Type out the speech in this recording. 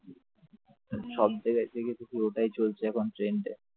সব জায়গায় এসে গেছে এখন শুধু ওটাই চলছে trend এ